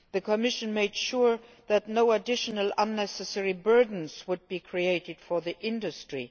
The Commission made sure that no additional unnecessary burdens would be created for industry.